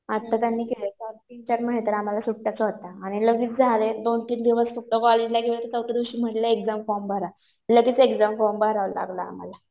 आता त्यांनी घ्यायच्या असतील तर मध्ये तर आम्हाला सुट्ट्याच होत्या. आणि लगेच झालं दोन-तीन दिवस सुद्धा कॉलेजला गेलं कि चौथ्या दिवशी म्हणलं एक्झाम फॉर्म भरा. लगेच एक्झाम फॉर्म भरावा लागला आम्हाला.